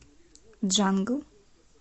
джангл